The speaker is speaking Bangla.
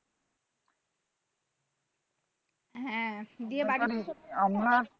হ্যাঁ,